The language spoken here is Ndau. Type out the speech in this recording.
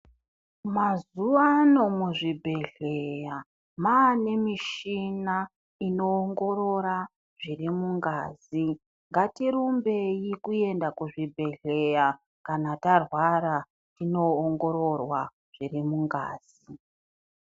Mazuwano muzvibhedhleya mane michina inoongorora zviri mungazi, ngatirumbei kuenda kuzvibhedhleya kana tarwara tinoongororwa zviri mungazi.